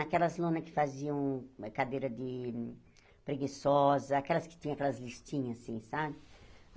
Aquelas lonas que faziam cadeira de preguiçosa, aquelas que tinham aquelas listrinhas assim, sabe?